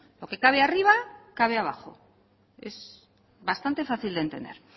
lo que cabe arriba cabe abajo es bastante fácil de entender